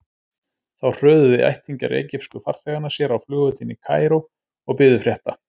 Þá hröðuðu ættingjar egypsku farþeganna sér á flugvöllinn í Kaíró og biðu frétta.